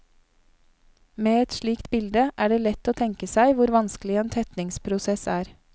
Med et slikt bilde er det lett å tenke seg hvor vanskelig en tetningsprosess er.